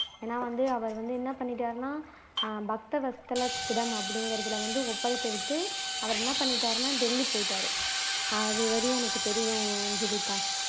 ஏன்னா வந்து அவர் வந்து என்ன பண்ணிட்டார்னா பக்த வத்சலத்திடம் அப்படிங்கிறதில வந்து அவர் என்ன பண்ணிட்டார்னா டெல்லி போய்ட்டார் அதுவரையும் எனக்கு தெரியும் ஜீவிதா